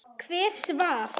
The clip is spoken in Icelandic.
Hver svaf?